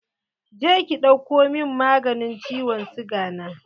Je ki ɗauko min maganin ciwon siga na!